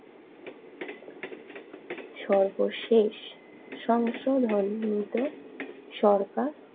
সর্বশেষ সংসদ মনোনীত সরকার।